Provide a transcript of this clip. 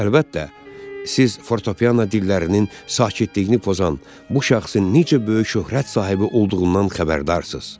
Əlbəttə, siz fortepiano dillərinin sakitliyini pozan bu şəxsin necə böyük şöhrət sahibi olduğundan xəbərdarsız.